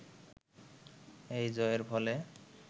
এই জয়ের ফলে